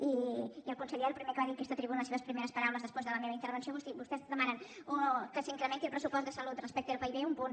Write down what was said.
i el conseller el primer que va dir en aquesta tribuna les seves primeres paraules després de la meva intervenció van ser vostès demanen que s’incrementi el pressupost de salut respecte al pib un punt